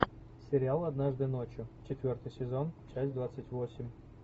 сериал однажды ночью четвертый сезон часть двадцать восемь